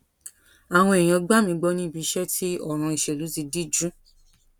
àwọn èèyàn gbà mí gbọ ní ibi iṣẹ tí òràn ìṣèlú ti díjú